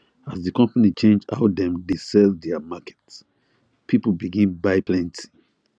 as the company change how dem dey sell their market people begin buy plenty